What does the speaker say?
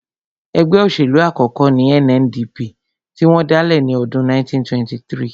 Ẹgbẹ́ òṣèlú àkọ́kọ́ ní NNDP tí wọ́n dálẹ̀ ní ọdún 1923